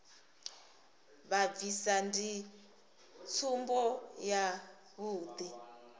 vha bvisa ndi tsumbo yavhuḓi